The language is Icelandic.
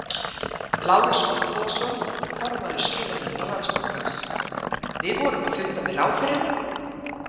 Lárus Finnbogason, formaður skilanefndar Landsbankans: Við vorum að funda með ráðherrum?